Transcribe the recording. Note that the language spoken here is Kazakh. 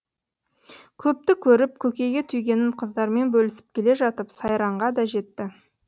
көпті көріп көкейге түйгенін қыздармен бөлісіп келе жатып сайранға да жетті